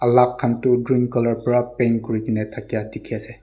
khan tu green colour para paint kuri kena thaka dikhi ase.